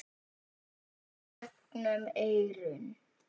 gegnum eyrun.